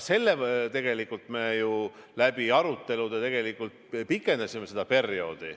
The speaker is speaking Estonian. Tegelikult arutelude tulemusena me pikendasime seda perioodi.